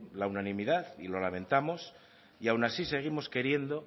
la unanimidad y lo lamentamos y aun así seguimos queriendo